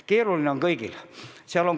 Keeruline on aga kõigil.